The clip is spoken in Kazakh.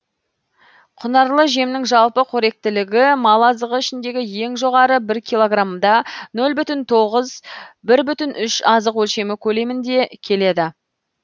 құнарлы жемнің жалпы қоректілігі мал азығы ішіндегі ең жоғары бір килограммда нөл бүтін тоғыз бір бүтін үш азық өлшемі көлеміңде келеді